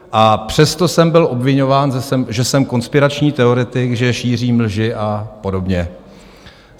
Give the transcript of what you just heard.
A přesto jsem byl obviňován, že jsem konspirační teoretik, že šířím lži a podobně.